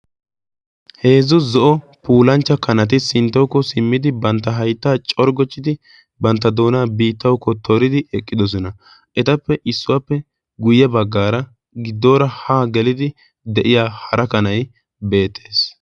Heezzu zo'o pulanchcha kanati sinttawuko simmidi bantta haittaa corggochchidi bantta doonaa biittaukko tooridi eqqidosona etappe issuwaappe guyye baggaara giddoora haa gelidi de'iya hara kanai beettees.